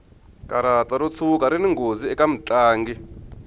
karata ro tshuka rini nghozi eka mutlangi